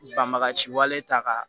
Banbaga ci wale ta k'a